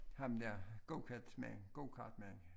Ham der gokartsmand gokartmand